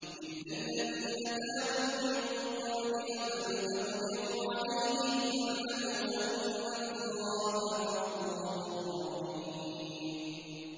إِلَّا الَّذِينَ تَابُوا مِن قَبْلِ أَن تَقْدِرُوا عَلَيْهِمْ ۖ فَاعْلَمُوا أَنَّ اللَّهَ غَفُورٌ رَّحِيمٌ